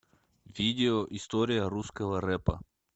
видео история русского рэпа